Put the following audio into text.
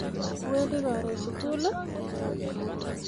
Iwendi karoon sugul?